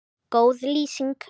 Góð lýsing?